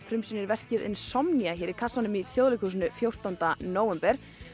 frumsýnir verkið Insomnia hér í kassanum í Þjóðleikhúsinu fjórtánda nóvember